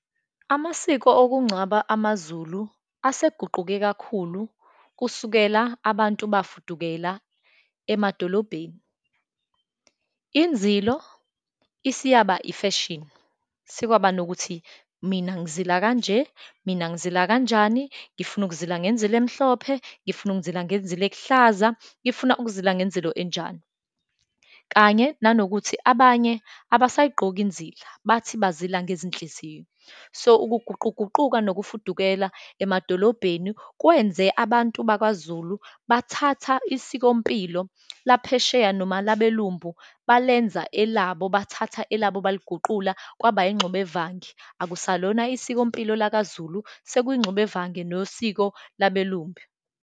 Amasiko okungcwaba amaZulu aseguquke kakhulu, kusukela abantu bafudukela emadolobheni. Inzilo isiyaba ifashini, sekwaba nokuthi mina ngizila kanje, mina ngizila kanjani, ngifuna ukuzila ngenzilo emhlophe, ngifuna ukuzila ngenzilo ekuhlaza, ngifuna ukuzila ngenzilo enjani, kanye nanokuthi abanye abasayigqoki inzilo, bathi bazila ngezinhliziyo. So, ukuguquguquka nokufudukela emadolobheni kwenze abantu bakwaZulu bathatha isikompilo laphesheya noma labelumbu balenza elabo, bathatha elabo baliguqula kwaba ingxubevange, akusalona isikompilo lakaZulu, sekuyingxubevange nosiko labelumbu.